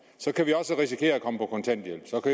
kan vi også risikere at komme på kontanthjælp